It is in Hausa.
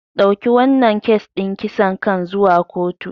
Dauki wannan kes din kisan kan zuwa kotu.